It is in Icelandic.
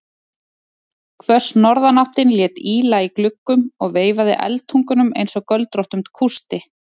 Hvöss norðanáttin lét ýla í gluggum og veifaði eldtungunum einsog göldróttum kústi.